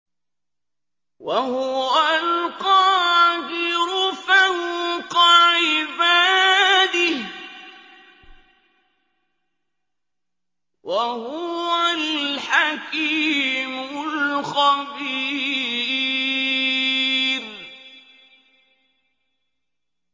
وَهُوَ الْقَاهِرُ فَوْقَ عِبَادِهِ ۚ وَهُوَ الْحَكِيمُ الْخَبِيرُ